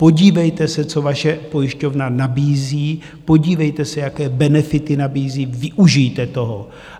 Podívejte se, co vaše pojišťovna nabízí, podívejte se, jaké benefity nabízí, využijte toho.